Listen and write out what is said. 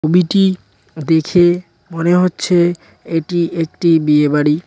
দেখে মনে হচ্ছে এটি একটি বিয়েবাড়ি।